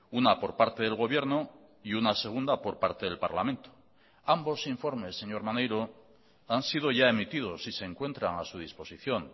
una por parte del gobierno y una segunda por parte del parlamento ambos informes señor maneiro han sido ya emitidos y se encuentran a su disposición